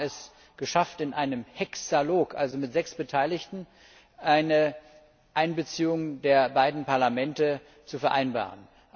Wir haben es geschafft, in einem Hexalog also mit sechs Beteiligten eine Einbeziehung der beiden Parlamente zu vereinbaren.